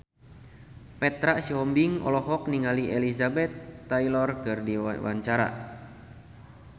Petra Sihombing olohok ningali Elizabeth Taylor keur diwawancara